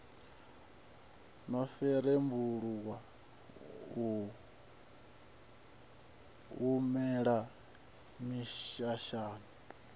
no rembuluwa u humela mishashani